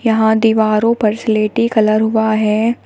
यहां दीवारों पर स्लेटी कलर हुआ है।